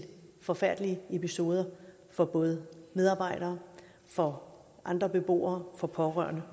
forfærdelige episoder for både medarbejdere for andre beboere for pårørende